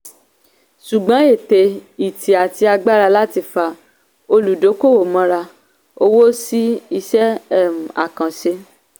ṣùgbọ́n ète ìtì àti agbára láti fa olùdókòwò mọ́ra owó sí iṣẹ́ um àkànṣe.